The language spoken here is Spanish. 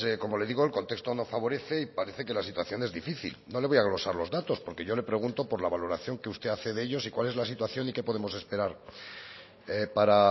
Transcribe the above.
como le digo el contexto no favorece y parece que la situación es difícil no le voy a glosar los datos porque yo le pregunto por la valoración que usted hace de ellos y cuál es la situación y qué podemos esperar para